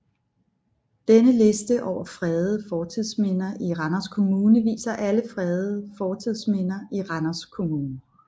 Denne liste over fredede fortidsminder i Randers Kommune viser alle fredede fortidsminder i Randers Kommune